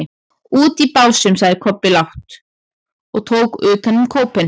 Úti í Básum, sagði Kobbi lágt og tók utan um kópinn.